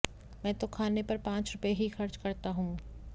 मैं तो खाने पर पांच रुपये ही खर्च करता हूं